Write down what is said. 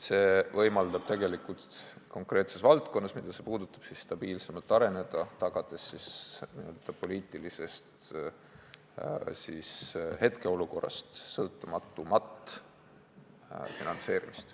See võimaldab konkreetsel valdkonnal, mida see puudutab, stabiilsemalt areneda, tagades n-ö poliitilisest hetkeolukorrast sõltumatumat finantseerimist.